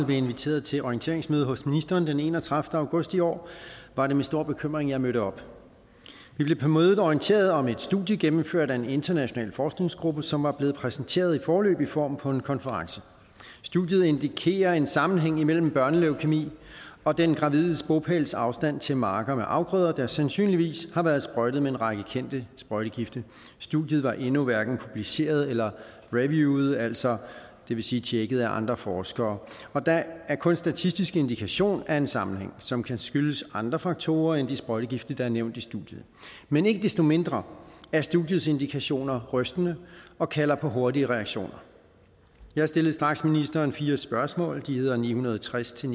blev inviteret til orienteringsmøde hos ministeren den enogtredivete august i år var det med stor bekymring jeg mødte op vi blev på mødet orienteret om et studie gennemført af en international forskningsgruppe som var blevet præsenteret i foreløbig form på en konference studiet indikerer en sammenhæng imellem børnelæukemi og den gravides bopælsafstand til marker med afgrøder der sandsynligvis har været sprøjtet med en række kendte sprøjtegifte studiet var endnu hverken publiceret eller reviewet altså det vil sige tjekket af andre forskere og der er kun statistisk indikation af en sammenhæng som kan skyldes andre faktorer end de sprøjtegifte der er nævnt i studiet men ikke desto mindre er studiets indikationer rystende og kalder på hurtige reaktioner jeg stillede straks ministeren fire spørgsmål de hedder spørgsmål ni hundrede og tres til